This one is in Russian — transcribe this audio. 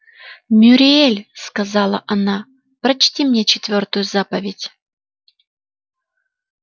мюриель сказала она прочти мне четвёртую заповедь